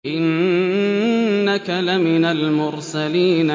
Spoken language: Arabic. إِنَّكَ لَمِنَ الْمُرْسَلِينَ